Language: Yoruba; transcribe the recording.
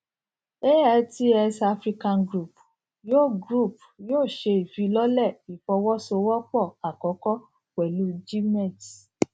altx africa group yóò group yóò ṣe ìfilọlẹ ìfọwọsowọpọ àkọkọ pẹlú gmex